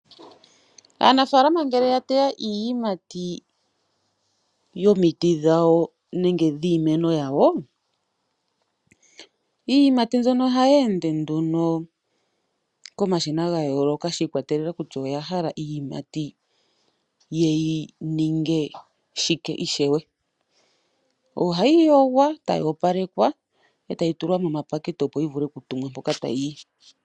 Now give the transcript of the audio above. Aanafaalama ngele yateya iiyimati yomiti dhawo nenge yiimeno yawo iiyimati mbyono oha yeende nduno komashina gayooloka shikwatelela kutya oyahala iiyimati yeyi ninge shike ishewe. Ohayi yogwa tayi opa lekwa etayi tulwa momapakete opo yivule oku tulwa mpoka tayiyi.